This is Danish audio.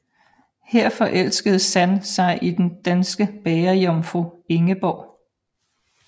Her forelskede San sig i den danske bagerjomfru Ingeborg